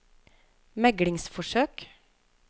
meglingsforsøk